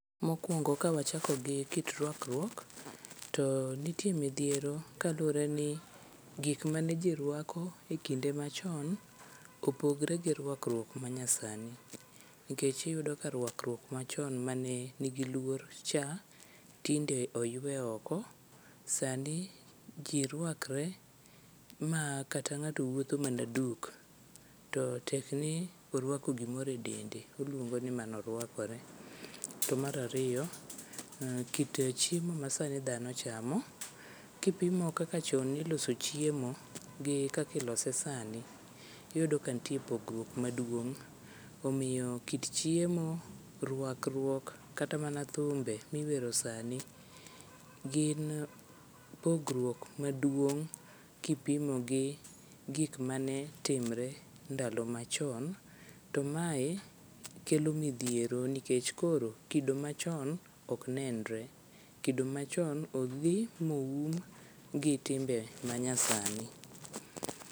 Mokwongo kawachako gi kit rwakruok to nitie midhiero kalure ni gik mane ji rwako e kinde machon opogre gi rwakruok manyasani, nikech iyudo ni rwakruok machon mane nigi luor cha, tinde oywe oko, sani ji rwakre ma kata ng'ato wuotho mana duk, to tekni orwako gimoro e dende. Olwongo ni mano orwakore. To mar ariyo, kit chiemo masani dhano chamo, kipimo kaka chon ne iloso chiemo gi kaka ilose sani, iyudo ka nitie pogruok maduong'. Omiyo kit chiemo, rwalkruok kata mana thumbe miwero sani, gin pogruok maduong' kipimogi gik manetimre ndalo machon. To mae kelo midhiero nikech koro, kido machon ok nenre. Kido machon odhi boum gi timbe manyasani.